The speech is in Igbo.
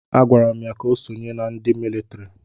A gwara m ya ka o sonyere ndị agha mịlịtrị!